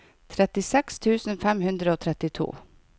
trettiseks tusen fem hundre og trettito